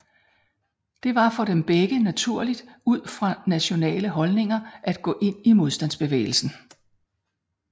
Det var for dem begge naturligt ud fra nationale holdninger at gå ind i modstandsbevægelsen